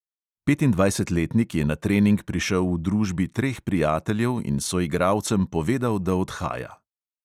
Petindvajsetletnik je na trening prišel v družbi treh prijateljev in soigralcem povedal, da odhaja.